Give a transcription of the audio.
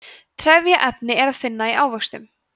trefjaefni er að finna í ávöxtum